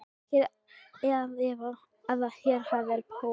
Ekki er að efa, að hér var Paul